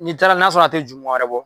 N'i taara n'a sɔrɔ a te jumuarɛ bɔ